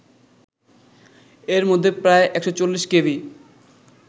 এরমধ্যে প্রায় ১৪০ কেভি